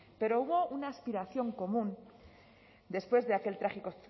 pero hubo una aspiración común después de aquel trágico